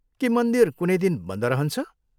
के मन्दिर कुनै दिन बन्द रहन्छ?